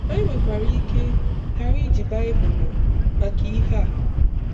Anyị nwekwara ike ghara iji Baịbụl maka ihe a.